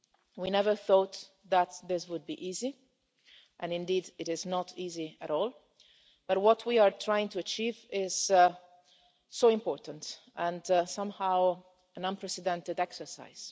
We never thought that this would be easy and indeed it is not easy at all but what we are trying to achieve is so important, and somehow an unprecedented exercise.